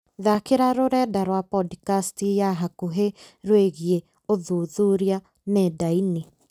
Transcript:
thaakĩra rũrenda rwa pondicasti ya hakuhĩ rwĩgiĩ ũthuthuria nenda-inĩ